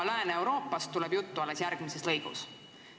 Lääne-Euroopast tuleb juttu alles järgmises lõigus.